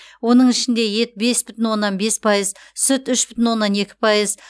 оның ішінде ет бес бүтін оннан бес пайыз сүт үш бүтін оннан екі пайыз